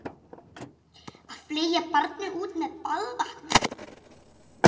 Að fleygja barninu út með baðvatninu